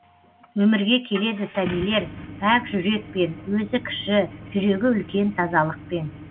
өмірге келеді сәбилер пәк жүрекпен өзі кіші жүрегі үлкен тазалықпен